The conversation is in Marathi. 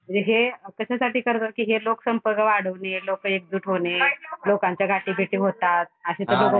म्हणजे हे कशासाठी करतात कि लोक संपर्क वाढवणे, लोकं एकजूट होणे, लोकांच्या गाठी भेटी होतात अशे तर लोक कोणी